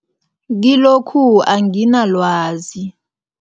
Kilokhu anginalwazi.